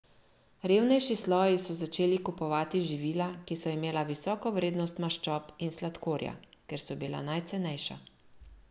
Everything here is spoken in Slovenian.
Revnejši sloji so začeli kupovati živila, ki so imela visoko vrednost maščob in sladkorja, ker so bila najcenejša.